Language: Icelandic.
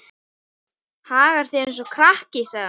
Hagar þér eins og krakki, sagði hún.